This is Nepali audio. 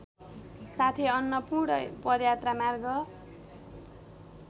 साथै अन्नपूर्ण पदयात्रामार्ग